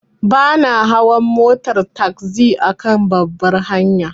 Bana hawa motar tagzi akan babbar hanya.